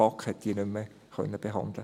Die BaK konnte sie nicht mehr behandeln.